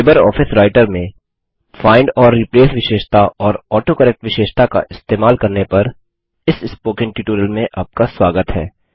Libre office Writer में find और replace विशेषता और ऑटोकरेक्ट विशेषता का इस्तेमाल करने पर इस स्पोकन ट्यूटोरियल में आपका स्वागत है